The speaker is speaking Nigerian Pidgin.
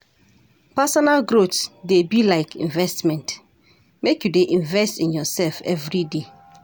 Personal growth dey be like investment, make you dey invest in yoursef everyday.